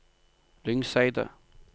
Lyngseidet